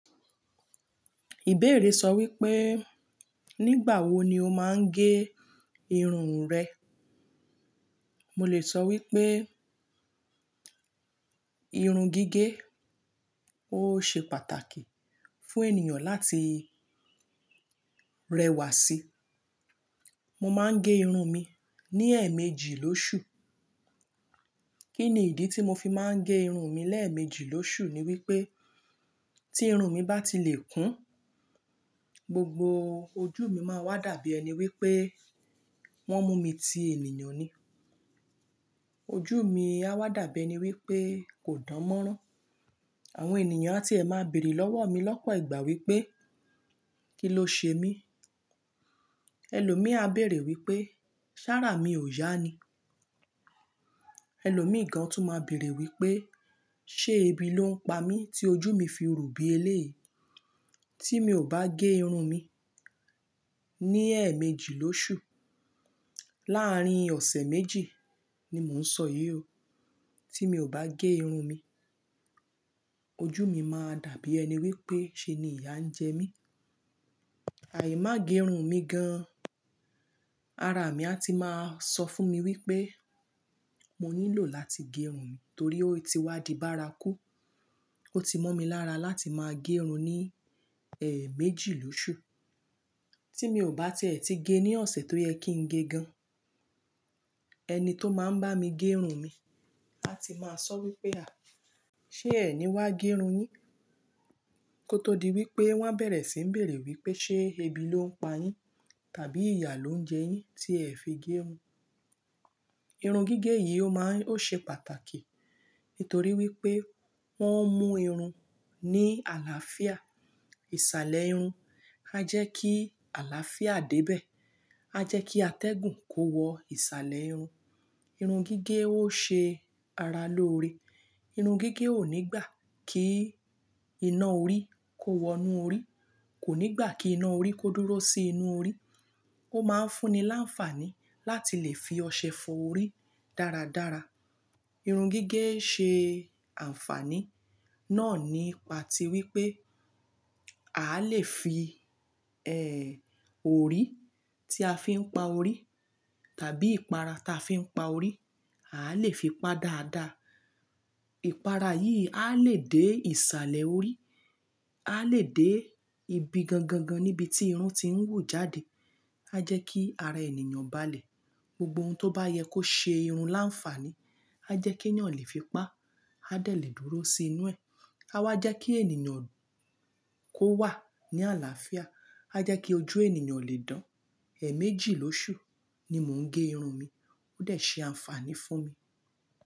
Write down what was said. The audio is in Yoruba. Ìbéèrè sọ wípé, nígbà wo ni o máa ń gé irun rẹ? Mo lè sọ wípé irun gígé, ó ṣe pàtàkì fún ènìyàn láti rẹwà sí. Mo máa ń gé irun mi ní ẹ̀ẹ̀méjì lóṣù. Kí ni ìdí tí mo fi máa ń gé irun mi lẹ́ẹ̀ẹ̀méjì lóṣù? Ni wípé tí irun mi bá ti lè kún, gbogbo ojú mi máa wá dàbí ẹni wípé wọ́n mú mi ti ènìyàn ni. Ojú mi á wá dàbí ẹni wípé kò dán mọ́rán. Àwọn ènìyàn a ti ẹ máa bèèrè lọ́wọ́ mi lọ́pọ̀ ìgbà wípé, kí ló ṣe mí? Ẹlòmíí a bèèrè wípé, ṣàráà mi ò yá ni. Ẹlòmíí gan tún máa bèèrè wípé, ṣé ebi ló ń pa mí tí ojú mi fi ru bí elé? Tí mi ò bá gé irun mi ní ẹ̀ẹ̀méjì lóṣù, láàrín ọ̀sẹ̀ méjì ni mò ń sọ yíyọ. Tí mi ò bá gé irun mi, ojú mi máa dàbí ẹni wípé ṣe ni ìyá ń jẹ mí. Àì máa gé irun mi gan, ara mi a ti máa sọ fún mi wípé, mo nílò láti gé irun mi torí ó ti wá di bárakú. Ó ti mọ́ mi lára láti máa gé irun ní ẹ̀ẹ̀méjì lóṣù. Tí mi ò bá tìẹ́tí gé ní ọ̀sẹ̀ tó yẹ kín gé gan, ẹni tó máa ń bá mi gé irun mi a ti máa sọ wípé, à, ṣé ẹ ni wá gé irun yín? Kótó di wípé wọ́n bẹ̀rẹ̀ sí ń bèèrè wípé ṣé ebi ló ń pa yín? Tàbí ìyá ló ń jẹ yín tí ẹ fi gé irun? Irun gígé yìí ó máa ń-- ó ṣe pàtàkì. Nítorí wípé wọ́n ń mú irun ní àlàáfíà. Ìṣàlẹ̀ irun a jẹ́ kí àlàáfíà débẹ̀. A jẹ́ kí atẹ́gùn kó wọ ìṣàlẹ̀ irun. Irun gígé ó ṣe ara lóore. Irun gígé ò nígbà kí iná orí kó wọ inú orí. Kò nígbà kí iná orí kó dúró sí inú orí. Ó máa ń fún ni láǹfàní láti lè fi ọṣẹ fọ orí dáradára. Irun gígé ṣe àǹfàní náà nípa ti wípé, a lè fi, ẹ́ẹ́, orí tí a fi ń pa orí tàbí ìpara tí a fi ń pa orí, a lè fi pa dáadáa. Ìpara yìí á lè dé ìṣàlẹ̀ orí, á lè dé ibi gangangan níbi tí irun tiń wu jáde. A jẹ́ kí ara ènìyàn balẹ̀. Gbogbo oun tó bá yẹ kó ṣe irun láǹfàní, a jẹ́ kí ènìyàn lè fi pa, a dẹ̀ lè dúró sí inú ẹ̀. A wá jẹ́ kí ènìyàn kó wà ní àlàáfíà. A jẹ́ kí ojú ènìyàn lè dán. Ẹ̀ẹ̀méjì lóṣù ni mò ń gé irun mi. Ó de ṣe àǹfàní fún mi.